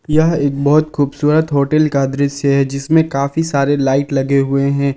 यह एक बहुत खूबसूरत होटल का दृश्य है जिसमें काफी सारे लाइट लगे हुए हैं।